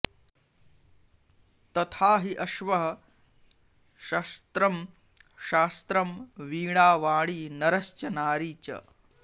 तथा हि अश्वः शस्त्रं शास्त्रं वीणा वाणी नरश्च नारी च